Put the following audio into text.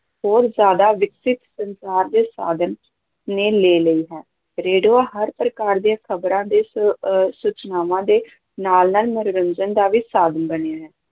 ਹੋਰ ਜ਼ਿਆਦਾ ਵਿਕਸਿਤ ਸੰਚਾਰ ਦੇ ਸਾਧਨ ਨੇ ਲੇ ਲਈ ਹੈ, ਰੇਡੀਓ ਹਰ ਪ੍ਰਕਾਰ ਦੀਆਂ ਖ਼ਬਰਾਂ ਦੇ ਸ ਅਹ ਸੂਚਨਾਵਾਂ ਦੇ ਨਾਲ-ਨਾਲ ਮਨੋਰੰਜਨ ਦਾ ਵੀ ਸਾਧਨ ਬਣਿਆ ਹੈ।